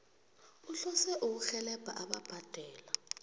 uhlose ukurhelebha ababhadela